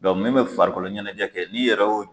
Dɔnku min be farikoloɲɛnɛjɛ kɛ n'i yɛrɛ o